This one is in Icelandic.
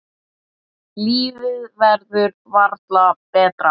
Lífið verður varla betra.